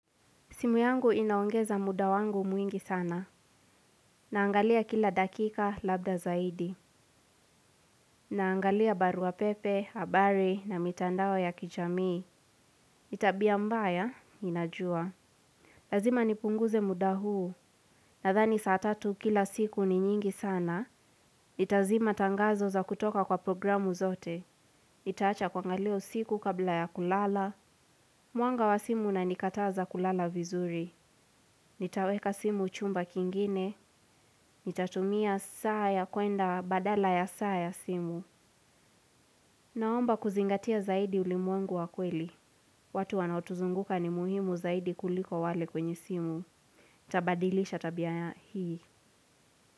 Simu yangu inaongeza muda wangu mwingi sana. Naangalia kila dakika labda zaidi. Naangalia barua pepe, habari na mitandao ya kijamii. Tabia mbaya, inajua. Lazima nipunguze muda huu. Nadhani saa tatu kila siku ni nyingi sana. Itazima tangazo za kutoka kwa programu zote. Nitaacha kuangalia usiku kabla ya kulala. Mwanga wa simu unanikataza kulala vizuri. Nitaweka simu chumba kingine. Nitatumia saa ya kwenda badala ya saa ya simu. Naomba kuzingatia zaidi ulimwengu wa kweli. Watu wanaotuzunguka ni muhimu zaidi kuliko wale kwenye simu nitabadilisha tabia hii.